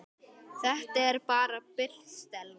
Þetta er bara bull, Stella.